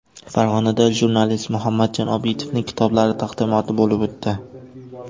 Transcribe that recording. Farg‘onada jurnalist Muhammadjon Obidovning kitoblari taqdimoti bo‘lib o‘tdi.